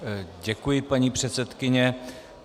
Děkuji, paní předsedkyně.